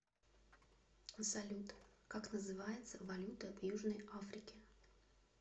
салют как называется валюта в южной африке